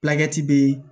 be